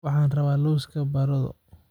Waxaan rabaa lawska baradho.